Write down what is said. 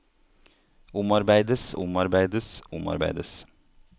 omarbeides omarbeides omarbeides